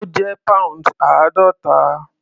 Ó jẹ́ pounds àádọ́ta.